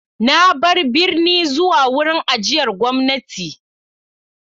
Na bar birni zuwa wurin ajiyar gwamnati.